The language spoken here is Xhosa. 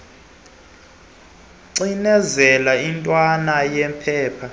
cinezela intwana yephepha